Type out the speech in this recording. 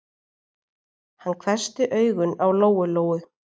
Hann hvessti augun á Lóu-Lóu.